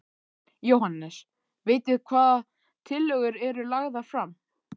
Jóhannes: Vitið hvaða tillögur eru lagðar fram?